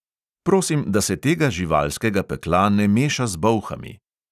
Prosim, da se tega živalskega pekla ne meša z bolhami.